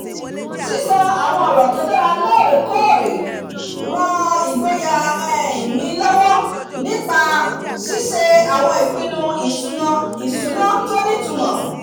sísọ àwọn ọ̀rọ̀ tó dára lóòrèkóòrè ran ìgboyà um mi lọ́wọ́ nípa um ṣíṣe àwọn ìpinnu ìṣúná tó nítumọ̀